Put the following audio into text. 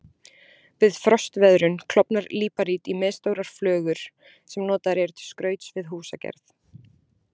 Við frostveðrun klofnar líparít í misstórar flögur sem notaðar eru til skrauts við húsagerð.